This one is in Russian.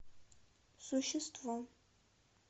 существо